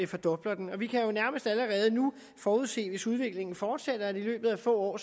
fordoblede den og vi kan jo nærmest allerede nu forudse hvis udviklingen fortsætter i løbet af få år